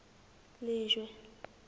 lejwe